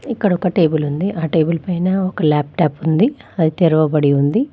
ఇక్కడ ఒక టేబుల్ ఉంది. ఆ టేబుల్ పైన ఒక ల్యాప్టాప్ ఉంది. అది తెరవబడి ఉంది.